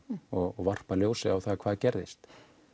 og varpa ljósi á það hvað gerðist